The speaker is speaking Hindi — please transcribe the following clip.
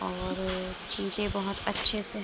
और चीजें बहोत अच्छे से --